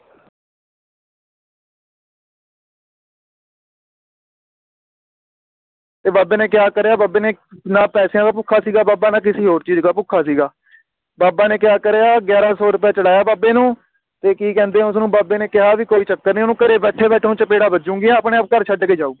ਤੇ ਬਾਬੇ ਨੇ ਕਿਹਾ ਤੇਰੇ ਬਾਬੇ ਨੇ ਨਾ ਪੈਸੇਆਂ ਦਾ ਭੁੱਖਾ ਸੀ ਨਾ ਬਾਬਾ ਨਾ ਕਿਸੀ ਹੋਰ ਚੀਜ਼ ਦਾ ਭੁੱਖਾ ਸੀਗਾ ਬਾਬਾ ਨੇ ਕਿਹਾ ਤੇਰੇ ਆਹ ਗਿਆਰਹ ਸੌ ਰੁਪਏ ਚੜ੍ਹਾਏ ਬਾਬੇ ਨੂੰ ਤੇ ਕੀ ਕਹਿੰਦੇ ਉਸਨੂੰ ਬਾਬੇ ਨੇ ਕਿਹਾ ਵੀ ਕੋਈ ਚੱਕਰ ਨਹੀਂ ਓਹਨੂੰ ਘਰੇ ਬੈਠੇ ਬੈਠੇ ਹੁਣ ਚਪੇੜਾਂ ਵਜੰਗੀਆਂ ਆਪਣੇ ਆਪ ਘਰ ਚਡ ਕੇ ਜਾਓ ਉਹ